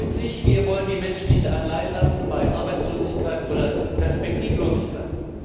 Deutlich Wir wollen die Menschen nicht alleinlassen bei Arbeitslosigkeit oder Perspektivlosigkeit.